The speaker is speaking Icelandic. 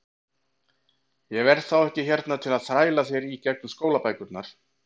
Ég verð þá ekki hérna til að þræla þér í gegnum skólabækurnar.